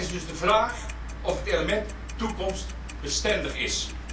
Het is dus de vraag of dit element toekomstbestendig is.